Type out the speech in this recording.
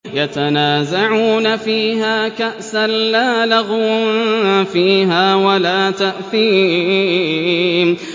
يَتَنَازَعُونَ فِيهَا كَأْسًا لَّا لَغْوٌ فِيهَا وَلَا تَأْثِيمٌ